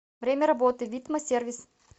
время работы витма сервис